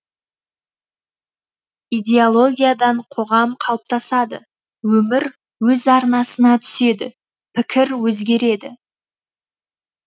идеологиядан қоғам қалыптасады өмір өз арнасына түседі пікір өзгереді